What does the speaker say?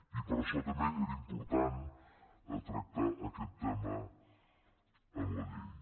i per això també era important tractar aquest tema en la llei